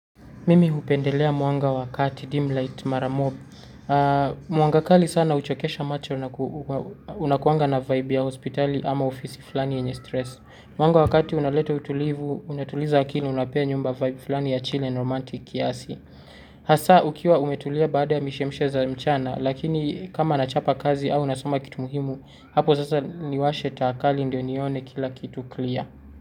Mimi hupendelea mwanga wa kati, dim light, mara mob. Mwanga kali sana huchokesha macho unakuanga na vibe ya hospitali ama ofisi fulani yenye stress. Mwanga wa kati unaleta utulivu, unatuliza akili unapea nyumba vibe fulani ya chill romantic kiasi. Hasa ukiwa umetulia baada ya mishemshe za mchana, lakini kama nachapa kazi au nasoma kitu muhimu, hapo sasa niwashe taa kali ndio nione kila kitu clear.